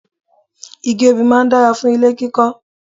Igi obì máa dára fún ilé kíkọ́